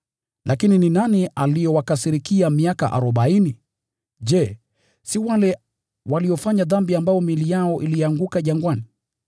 Lakini ni nani aliowakasirikia miaka arobaini? Je, si wale waliofanya dhambi ambao miili yao ilianguka jangwani?